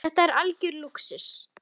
Þetta er algjör lúxus.